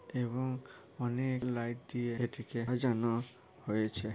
এবং অনেক লাইট দিয়ে এটিকে সাজানো হয়েছে ।